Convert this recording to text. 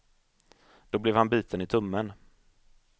Då blev han biten i tummen.